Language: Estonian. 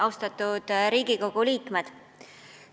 Austatud Riigikogu liikmed!